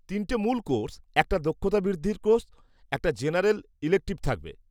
-তিনটে মূল কোর্স, একটা দক্ষতা বৃদ্ধির কোর্স এবং একটা জেনারেল ইলেকটিভ থাকবে।